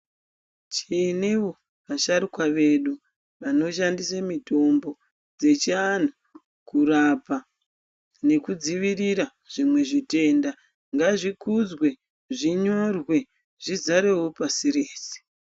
Tinewo vasharukwa vedu vanoshandisa mitombo dzechiantu kurapa nekudzivirira zvitenda ngazvikudzwe zvinyorwe zvizarewo pashi rose.